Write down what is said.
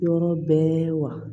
Yɔrɔ bɛɛ wa